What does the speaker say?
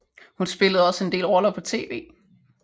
Hun spillede også en del roller på tv